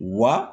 Wa